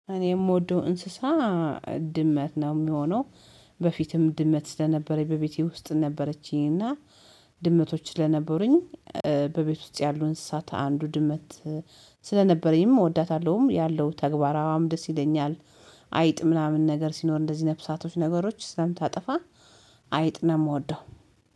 እኔ የምወደው እንስሳ ድመት ነው የሚሆነው። በፊትም ድመት ስለነበረኝ በቤቴ ውስጥ ነበረችኝ እና ድመቶች ስለነበሩኝ በቤት ውስጥ ያሉ እንስሳት አንዱ ድመት ስለነበረኝም እወዳታለሁም ያለው ተግባሯም ደስ ይለኛል። አይጥ ምናምን ነገር ሲኖር እንደዚህ ነፍሳቶች ነገሮች ስለምታጠፋ አይጥ ነው የምወደው